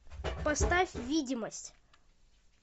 поставь видимость